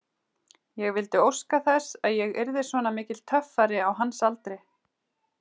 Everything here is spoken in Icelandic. Ég vildi óska þess að ég yrði svona mikill töffari á hans aldri.